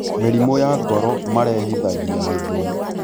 mĩrimũ ya ngoro marehithagia gĩthũri